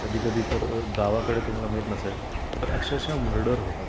कधी कधी तर गावाकडे तुम्हाला माहीत नसेल तर अक्षरशः मर्डर होतात.